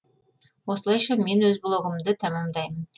осылайша мен өз блогымды тәмәмдаймын